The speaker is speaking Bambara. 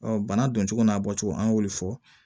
bana don cogo n'a bɔcogo an y'olu fɔ